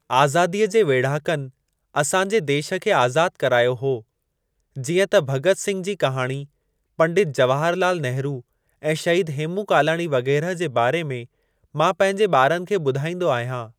आज़ादीअ जे वेढ़ाकनि असां जे देश खे आज़ाद करायो हो जीअं त भगत सिंघ जी कहाणी, पंडित जवाहर लाल नेहरु ऐं शहीद हेमू कालाणी वग़ैरह जे बारे में मां पंहिंजे ॿारनि खे ॿुधाइंदो आहियां।